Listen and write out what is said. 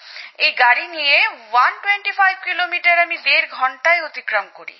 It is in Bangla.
এই গাড়ি নিয়ে ১২৫ কিমি আমি দেড় ঘন্টায় অতিক্রম করি